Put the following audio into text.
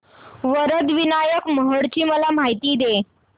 वरद विनायक महड ची मला माहिती दे